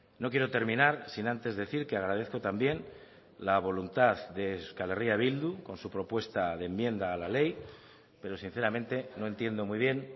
no quiero terminar sin antes decir que agradezco también la voluntad de euskal herria bildu con su propuesta de enmienda a la ley pero sinceramente no entiendo muy bien